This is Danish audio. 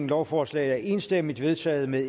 lovforslaget er enstemmigt vedtaget med